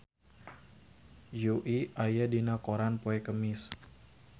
Yui aya dina koran poe Kemis